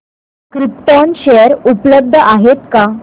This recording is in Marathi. क्रिप्टॉन शेअर उपलब्ध आहेत का